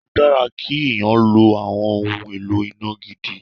Ó dára kí èèyàn lo àwọn ohun èlò iná gidi.